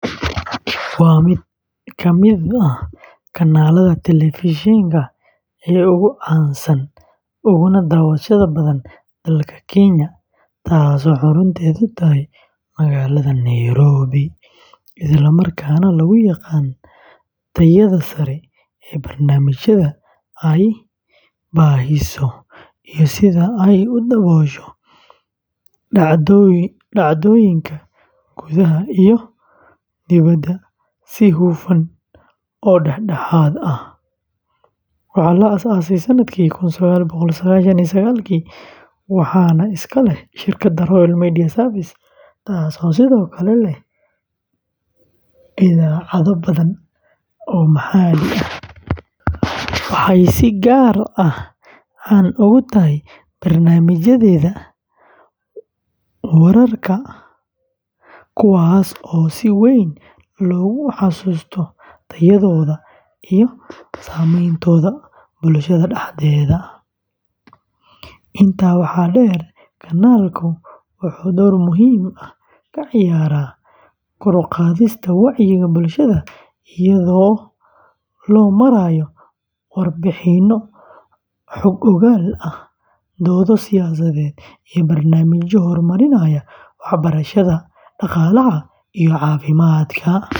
waa mid ka mid ah kanaalada telefishinka ee ugu caansan uguna daawashada badan dalka Kenya, taasoo xarunteedu tahay magaalada Nairobi, isla markaana lagu yaqaan tayada sare ee barnaamijyada ay baahiso iyo sida ay u daboosho dhacdooyinka gudaha iyo dibadda si hufan oo dhexdhexaad ah. Waxaa la aasaasay sanadkii kun sagaal boqol sagaashan iyo sagaalki, waxaana iska leh shirkadda Royal Media Services, taasoo sidoo kale leh idaacado badan oo maxalli ah. Waxay si gaar ah caan ugu tahay barnaamijyadeeda wararka, kuwaas oo si weyn loogu xasuusto tayadooda iyo saameyntooda bulshada dhexdeeda. Intaa waxaa dheer, kanaalku wuxuu door muhiim ah ka ciyaaraa kor u qaadista wacyiga bulshada iyadoo loo marayo warbixinno xog-ogaal ah, doodo siyaasadeed, iyo barnaamijyo horumarinaya waxbarashada, dhaqaalaha iyo caafimaadka.